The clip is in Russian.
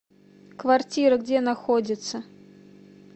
квартира где находится